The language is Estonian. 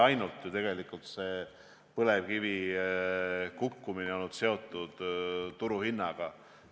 No tegelikult ei ole ju põlevkivisektori kukkumine olnud seotud ainult turuhinnaga.